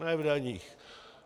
Ne v daních.